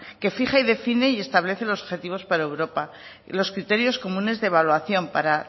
que fija y define y establece los objetivos para europa y los criterios comunes de evaluación para